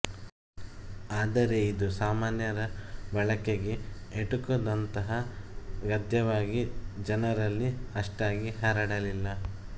ಆದರೆ ಇದು ಸಾಮಾನ್ಯರ ಬಳಕೆಗೆ ಎಟುಕದಂಥ ಗದ್ಯವಾಗಿ ಜನರಲ್ಲಿ ಅಷ್ಟಾಗಿ ಹರಡಲಿಲ್ಲ